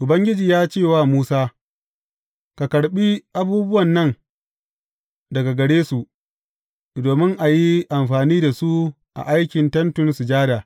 Ubangiji ya ce wa Musa, Ka karɓi abubuwan nan daga gare su, domin a yi amfani da su a aikin Tentin Sujada.